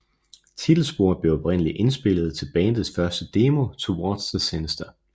Titelsporet blev oprindelig indspillet til bandets første demo Towards the Sinister